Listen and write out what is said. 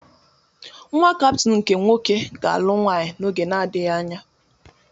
Nnwa Kaptin nke nwoke ga-alụ nwaanyị n'oge na-adịghị anya.